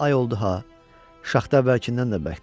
Amma ay oldu ha, şaxta əvvəlkindən də bərkdir.